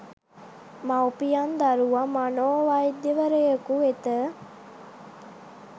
මවුපියන් දරුවා මනෝ වෛද්‍යවරයෙකු වෙත